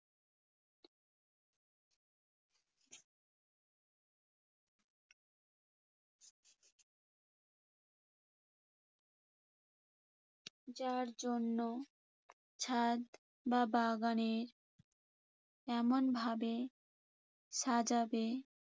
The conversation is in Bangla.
যার জন্য ছাদ বা বাগানের এমনভাবে সাজাবে